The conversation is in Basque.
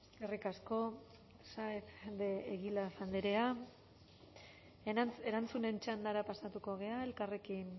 eskerrik asko saez de egilaz andrea erantzunen txandara pasatuko gara elkarrekin